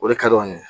O de ka d'an ye